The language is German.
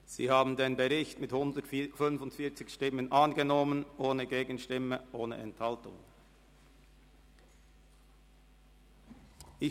Sie haben den Bericht mit 145 Stimmen ohne Gegenstimme und ohne Enthaltung angenommen.